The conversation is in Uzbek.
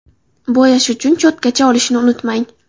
Bo‘yash uchun cho‘tkacha olishni unutmang.